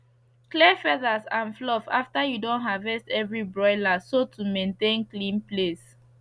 clears feathers and fluff after you don harvest every broiler so to mantain clean place